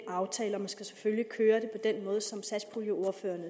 aftale og man skal selvfølgelig køre det på den måde som satspuljeordførerne